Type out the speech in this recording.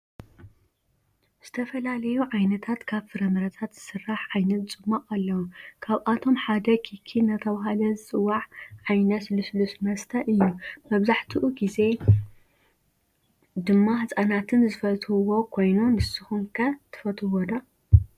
ዝተፈላለዩ ዓይነታት ካብ ፍረምረታት ዝሰራሕ ዓይነት ፁማቅ አለው ካብአቶም ሓደ ኪኪ እናተባህለ ዝፅዋዕ ዓየነት ሉሱሉስ መስተ እዩ ።መብዛሕቲኡ ግዜ ድማ ህፃናትን ዝፈትውዎ ኮይኑ ንስኩም ከ ትፈትዎ ዶ?